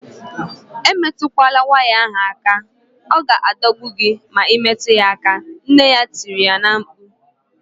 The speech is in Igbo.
Emetukwala waya ahu aka! Ọ ga-adọgbu gị ma imetụ ya aka, nne ya tiri na-mkpu